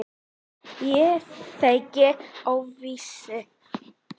Ég þegi óviss.